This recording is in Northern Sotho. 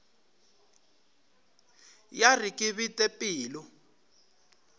ya re ke bete pelo